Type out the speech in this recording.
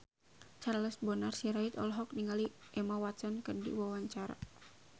Charles Bonar Sirait olohok ningali Emma Watson keur diwawancara